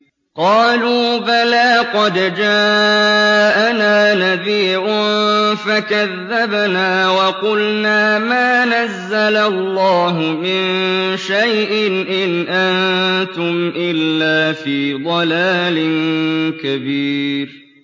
قَالُوا بَلَىٰ قَدْ جَاءَنَا نَذِيرٌ فَكَذَّبْنَا وَقُلْنَا مَا نَزَّلَ اللَّهُ مِن شَيْءٍ إِنْ أَنتُمْ إِلَّا فِي ضَلَالٍ كَبِيرٍ